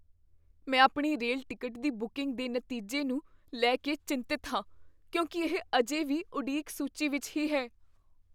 ਮੈਂ ਆਪਣੀ rail ticket ਦੀ ਬੁਕਿੰਗ ਦੇ ਨਤੀਜੇ ਨੂੰ ਲੈ ਕੇ ਚਿੰਤਤ ਹਾਂ ਕਿਉਂਕਿ ਇਹ ਅਜੇ ਵੀ ਉਡੀਕ ਸੂਚੀ ਵਿੱਚ ਹੀ ਹੈ।